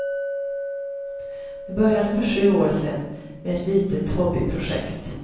Det började för sju år sedan med ett litet hobbyprojekt.